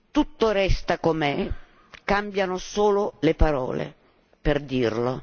Tutto resta com'è cambiano solo le parole per dirlo.